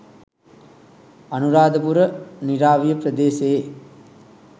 අනුරාධපුර නිරාවිය ප්‍රදේශයේ